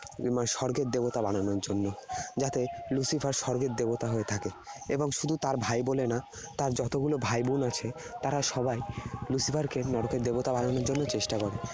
উম স্বর্গের দেবতা বানানোর জন্য। যাতে Lucifer স্বর্গের দেবতা হয়ে থাকে। এবং শুধু তার ভাই বলে না, তার যতগুলো ভাই বোন আছে, তারা সবাই Lucifer কে নরকের দেবতা বানানোর জন্য চেষ্টা করে।